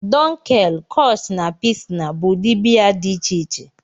Dunkel, Kolsch na Pilsner bụ ụdị biya dị iche iche